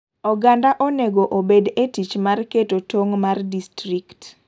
Oganda onego obed e tich mar keto tong' mar distrikt.